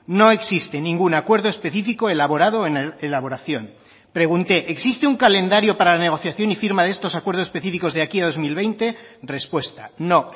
no existe ningún acuerdo específico elaborado en elaboración pregunté existe un calendario para la negociación y firma de estos acuerdos específicos de aquí a dos mil veinte respuesta no